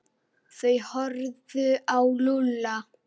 Þeir horfðu á Lúlla.